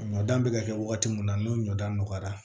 Ɲɔ dan bɛ ka kɛ waati min na n'o ɲɔdanɔgɔyara